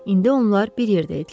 İndi onlar bir yerdə idilər.